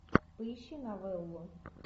поищи новеллу